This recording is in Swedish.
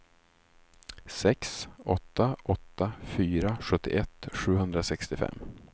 sex åtta åtta fyra sjuttioett sjuhundrasextiofem